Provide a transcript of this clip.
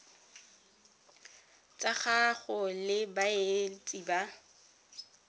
tsa gago le baeletsi ba